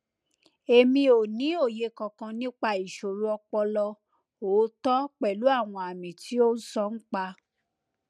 emi o ni oye kankan nipa isoro opolo ooto pelu awon ami ti o sonpa